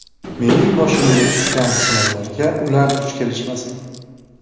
Mening boshimga tushgan sinovlarga ular duch kelishmasin.